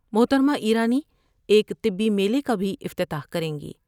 محترمہ ایرانی ایک طبی میلے کا بھی افتتاح کریں گی ۔